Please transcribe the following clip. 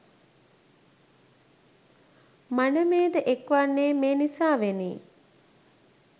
මනමේ ද එක් වන්නේ මේ නිසාවෙනි.